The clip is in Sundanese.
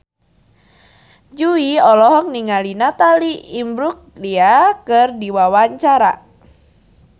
Jui olohok ningali Natalie Imbruglia keur diwawancara